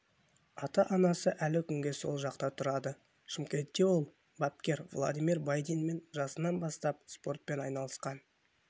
ата-анасы әлі күнге сол жақта тұрады шымкентте ол бапкер владимир байдинмен жасынан бастап спортпен айналысқан